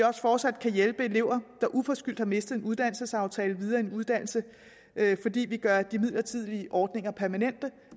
også fortsat hjælpe elever der uforskyldt har mistet en uddannelsesaftale videre i en uddannelse fordi vi gør de midlertidige ordninger permanente